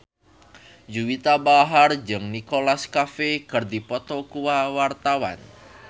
Juwita Bahar jeung Nicholas Cafe keur dipoto ku wartawan